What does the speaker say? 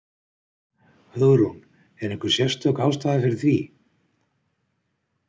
Hugrún: Er einhver sérstök ástæða fyrir því?